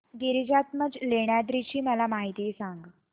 गिरिजात्मज लेण्याद्री ची मला माहिती सांग